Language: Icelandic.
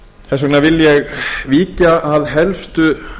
þess vegna vil ég víkja að helstu